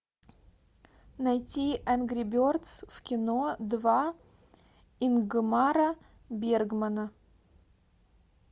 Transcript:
найти энгри бердз в кино два ингмара бергмана